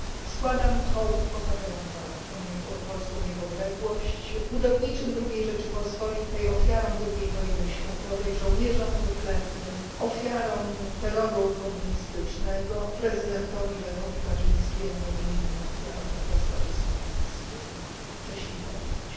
Składam hołd bohaterom walk o polską niepodległość, budowniczym Drugiej Rzeczypospolitej, ofiarom II Wojny Światowej, żołnierzom wyklętym, ofiarom terroru komunistycznego, prezydentowi Lechowi Kaczyńskiemu i innym ofiarom katastrofy smoleńskiej. Cześć ich pamięci.